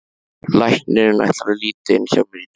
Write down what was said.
Læknirinn ætlar að líta inn hjá mér í dag.